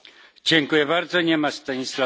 Nie ma Stanisława Polčáka?